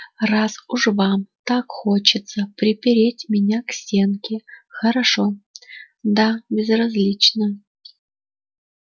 раз уж вам так хочется припереть меня к стенке хорошо да безразлично